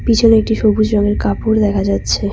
পিছনে একটি সবুজ রঙের কাপড় দেখা যাচ্ছে।